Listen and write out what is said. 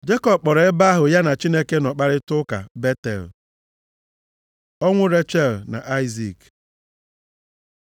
Jekọb kpọrọ ebe ahụ ya na Chineke nọ kparịtaa ụka Betel. Ọnwụ Rechel na Aịzik